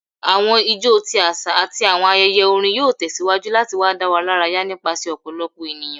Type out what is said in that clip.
Awọn ijó ti aṣa ati awọn ayẹyẹ orin yoo tẹsiwaju lati wa daradara nipasẹ ọpọlọpọ eniyan